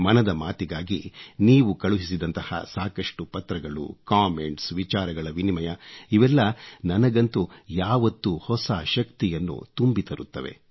ಮನದ ಮಾತಿಗಾಗಿ ನೀವು ಕಳುಹಿಸಿದಂತಹ ಸಾಕಷ್ಟು ಪತ್ರಗಳು ಕಾಮೆಂಟ್ಸ್ ವಿಚಾರಗಳ ವಿನಿಮಯ ಇವೆಲ್ಲ ನನಗಂತೂ ಯಾವತ್ತೂ ಹೊಸ ಶಕ್ತಿಯನ್ನು ತುಂಬಿ ತರುತ್ತವೆ